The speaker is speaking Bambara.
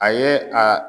A ye a